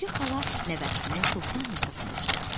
Xədicə xala nəvəsini çoxdan yatırtmışdı.